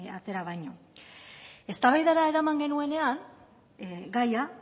atera baino eztabaidara eraman genuenean gaia